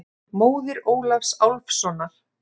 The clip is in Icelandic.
Móðir Ólafs Álfssonar.